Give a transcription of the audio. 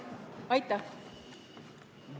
Aitäh!